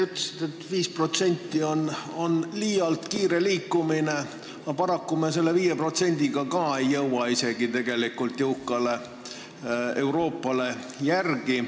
Te ütlesite, et 5% on liialt kiire liikumine, aga paraku me ei jõua isegi selle 5%-ga jõukale Euroopale järele.